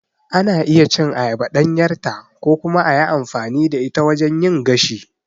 Ana iya cin ayaba ɗanyarta ko kuma a yi amfani da ita wajen yin gashi.